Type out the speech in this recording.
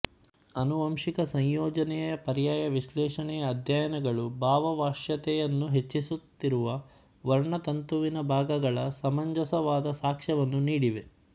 ಆನುವಂಶಿಕ ಸಂಯೋಜನೆಯ ಪರ್ಯಾಯ ವಿಶ್ಲೇಷಣೆಯ ಅಧ್ಯಯನಗಳು ಭಾವವಶ್ಯತೆಯನ್ನು ಹೆಚ್ಚಿಸುತ್ತಿರುವ ವರ್ಣತಂತುವಿನ ಭಾಗಗಳ ಸಮಂಜಸವಾದ ಸಾಕ್ಷ್ಯವನ್ನು ನೀಡಿವೆ